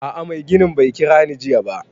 A'a mai ginin bai kira ni jiya ba